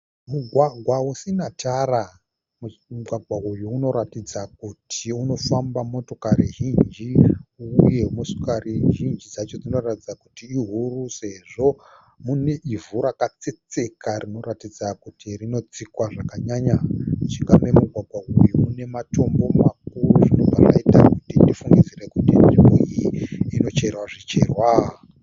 Mugwagwa usina tara. Mugwagwa uyu unoratidza kuti unofamba motokari zhinji uye motokari zhinji dzacho dzinoratidza kuti ihuru sezvo mune ivhu rakatsetseka rinoratidza kuti rinotsikwa zvakanyanya. Mujinga memugwagwa uyu mune matombo makuru zvinobva zvaita kuti tifungidzire kuti nzvimbo iyi inocherwa zvicherwa.